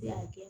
Ne y'a kɛ